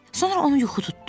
Sonra onu yuxu tutdu.